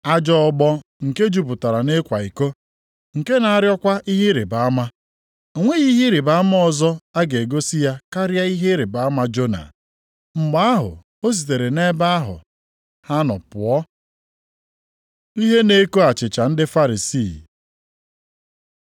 Ajọ ọgbọ nke jupụtara nʼịkwa iko, nke na-arịọkwa ihe ịrịbama. Ọ nweghị ihe ịrịbama ọzọ a ga-egosi ya karịa ihe ịrịbama Jona.” Mgbe ahụ ọ sitere nʼebe ahụ ha nọ pụọ. Ihe na-eko achịcha ndị Farisii